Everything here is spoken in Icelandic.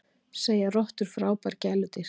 Segja rottur frábær gæludýr